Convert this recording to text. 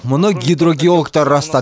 мұны гидрогеологтар растады